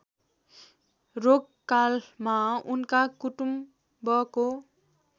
रोगकालमा उनका कुटुम्बको